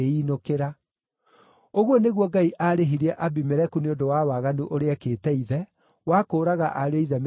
Ũguo nĩguo Ngai aarĩhirie Abimeleku nĩ ũndũ wa waganu ũrĩa ekĩte ithe, wa kũũraga ariũ-a-ithe mĩrongo mũgwanja.